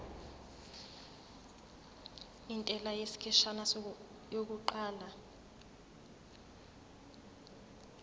intela yesikhashana yokuqala